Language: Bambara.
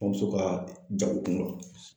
N bamuso ka jago kun dɔ.